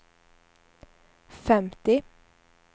femtio